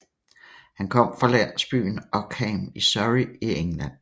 Han kom fra landsbyen Ockham i Surrey i England